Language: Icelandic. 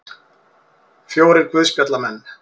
Fjórir guðspjallamenn.